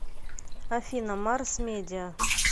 афина марс медиа